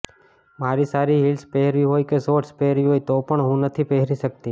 મારે સારી હિલ્સ પહેરવી હોય કે શોર્ટ્સ પહેરવી હોય તો પણ હું નથી પહેરી શકતી